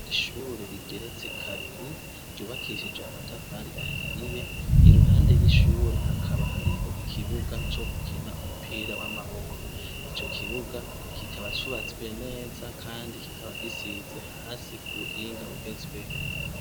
Ishurure rigeretse kabiri ryubakishije amatafari ahiye iruhande y'ishurure hakaba hariho ikibuga co gukina umupira w'amaboko ico kibuga kikaba cubatswe neza, kandi kikaba gisize hasi ubuhinga ugezweho.